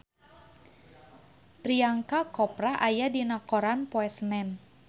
Priyanka Chopra aya dina koran poe Senen